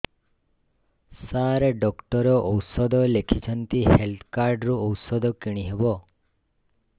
ସାର doctor ଔଷଧ ଲେଖିଛନ୍ତି health card ରୁ ଔଷଧ କିଣି ହେବ